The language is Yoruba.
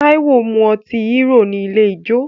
Táíwò mu ọtí Hero ní ilé ijó